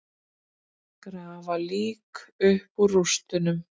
Grafa lík upp úr rústum